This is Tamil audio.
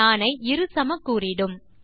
நாணை இரு சமக்கூறிடும்